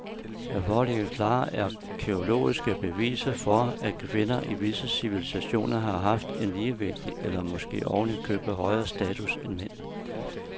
Der foreligger klare arkæologiske beviser for, at kvinder i visse civilisationer har haft en ligeværdig eller måske oven i købet højere status end mænd.